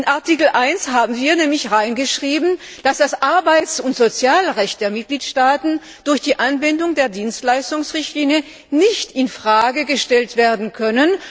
In Artikel 1 haben wir nämlich hineingeschrieben, dass das Arbeits und Sozialrecht der Mitgliedstaaten durch die Anwendung der Dienstleistungsrichtlinie nicht in Frage gestellt werden kann.